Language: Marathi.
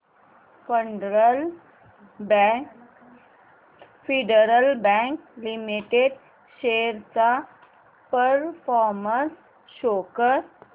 फेडरल बँक लिमिटेड शेअर्स चा परफॉर्मन्स शो कर